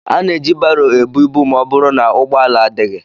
Ana eji baro ebu ibu ma ọ bụrụ na ụgbọala adịghị.